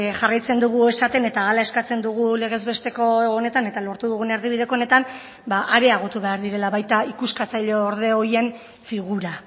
jarraitzen dugu esaten eta hala eskatzen dugu legezbesteko honetan eta lortu dugun erdibideko honetan areagotu behar direla baita ikuskatzaileorde horien figura